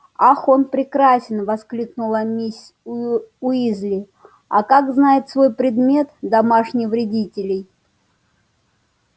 ах он прекрасен воскликнула миссис уизли а как знает свой предмет домашних вредителей